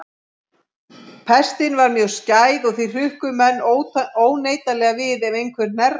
Pestin var mjög skæð og því hrukku menn óneitanlega við ef einhver hnerraði.